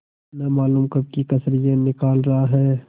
न मालूम कब की कसर यह निकाल रहा है